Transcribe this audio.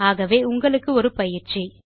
ஆகவே உங்களுக்கு ஒரு பயிற்சி